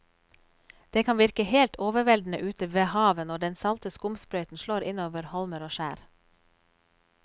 Det kan virke helt overveldende ute ved havet når den salte skumsprøyten slår innover holmer og skjær.